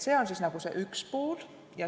See on selle üks pool.